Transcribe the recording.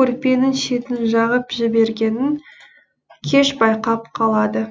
көрпенің шетін жағып жібергенін кеш байқап қалады